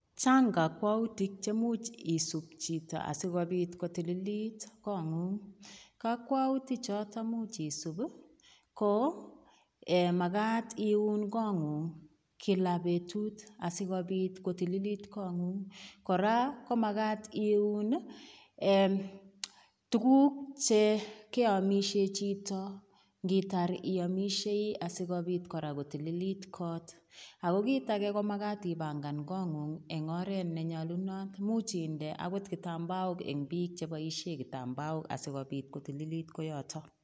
Chang kakwautik chemuch isub chito asigopit ko tililit kongong. Kakwautichoto much isub ko magat iun kongung kila betut asigopit kotililit kongung. Kora ko magat iun, ee tuguk che keamisye chito ngitar iamisiei asigopit kora kotililit kot. Ago kit age ko magat ipangan kongong eng oret ne nyalunot, imuch inde agot kitambaok eng biik cheboisie kitambaok asigopit kotililit koiyoto.